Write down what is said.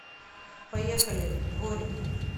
поехали дворик